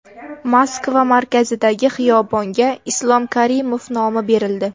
Moskva markazidagi xiyobonga Islom Karimov nomi berildi.